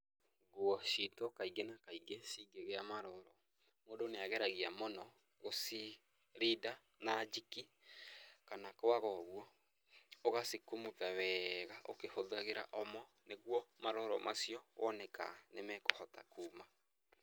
Nguo citũ kaingĩ na kaingĩ cingĩgĩa maroro, mũndũ nĩ ageragia mũno gũcirinda na JIK kana kwaga ũguo ũgacikumutha weega ukĩhũthagira OMO nĩguo maroro macio wone ka nĩ mekũhota kuma.